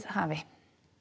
hafi